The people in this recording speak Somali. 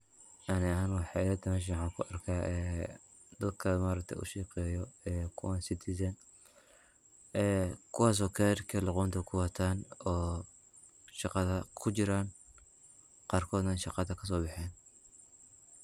Ani ahaan waxay ilatahay waxan meesha kuarka dadka maaragte ushaqeyo kuwan Citizen kuwas oo maaragte karka luqunta kuwatan oo shaqada kujiran qarkodana shaqada kasobexen.